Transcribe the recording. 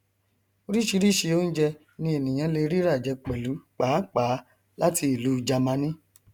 oríṣìíríṣìí onjẹ ni ènìyàn lè rí ràjẹ pẹlú pàápàá láti ìlú jamani